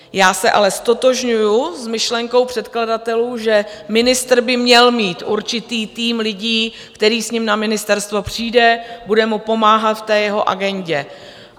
Já se ale ztotožňuji s myšlenkou předkladatelů, že ministr by měl mít určitý tým lidí, který s ním na ministerstvo přijde, bude mu pomáhat v té jeho agendě.